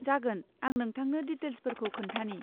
जागोन आं नोंथांनो डिटेल्सफोरखौ खोन्थानि।